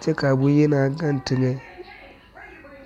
kyɛ kaa bonyenaa gaŋ teŋɛ.